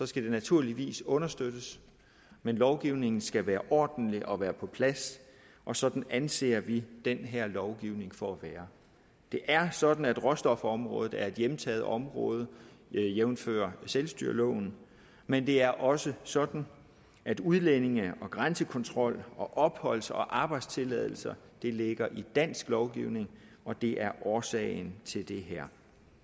skal det naturligvis understøttes men lovgivningen skal være ordentlig og være på plads og sådan anser vi den her lovgivning for at være det er sådan at råstofområdet er et hjemtaget område jævnfør selvstyreloven men det er også sådan at udlændinge og grænsekontrol og opholds og arbejdstilladelser ligger i dansk lovgivning og det er årsagen til det her